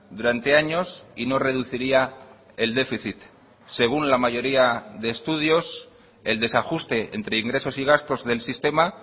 durante años y no reduciría el déficit según la mayoría de estudios el desajuste entre ingresos y gastos del sistema